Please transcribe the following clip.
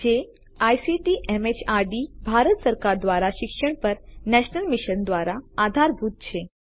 જેને રાષ્ટ્રીય સાક્ષરતા મિશને આઇસીટી ના માધ્યમથી સમર્થિત કરેલ છે